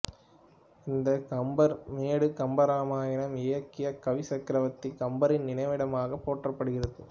இந்த கம்பர் மேடு கம்பராமாயணம் இயற்றிய கவிச்சக்கரவர்த்தி கம்பரின் நினைவிடமாகப் போற்றப்படுகிறது